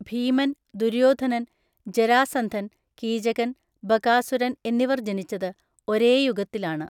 ഭീമൻ, ദുര്യോധനൻ, ജരാസന്ധൻ, കീചകൻ, ബകാസുരൻ എന്നിവർ ജനിച്ചത് ഒരേ യുഗത്തിലാണ്.